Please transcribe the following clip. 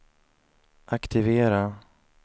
aktivera